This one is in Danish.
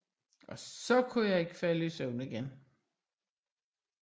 Og så kunne jeg ikke falde i søvn igen